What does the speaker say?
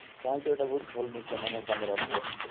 ତାହେଲେ ତ ଏଟା ବହୁତ ଭଲ ଜିନିଷ ମାନେ କାମ ରେ ଆସିବ